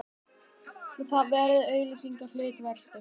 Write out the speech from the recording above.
Það var verið að auglýsa hlutaveltu.